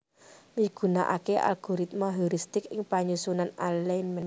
migunaaké algoritma heuristik ing panyusunan alignment